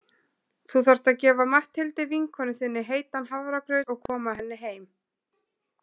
Þú þarft að gefa Matthildi vinkonu þinni heitan hafragraut og koma henni heim.